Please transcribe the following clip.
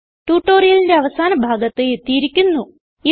ട്യൂട്ടോറിയലിന്റെ അവസാന ഭാഗത്ത് എത്തിയിരിക്കുന്നു